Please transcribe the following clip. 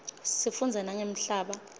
sifundza nangemhlaba